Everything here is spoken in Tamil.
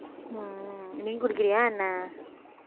உம் நீ குடிக்கிறியா என்ன